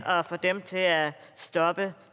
få dem til at stoppe